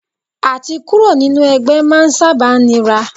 À ti kúrò nínú ẹgbẹ́ máa ń sábà nira.